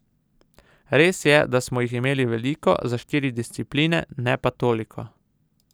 Res je, da smo jih imeli veliko, za štiri discipline, ne pa toliko.